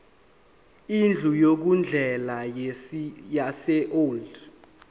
indlu yokudlela yaseold